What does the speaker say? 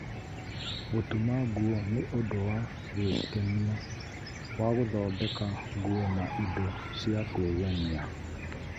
Gũtuma nguo nĩ ũndũ wa gwĩkenia wa gũthondeka nguo na indo cia kwĩgemia.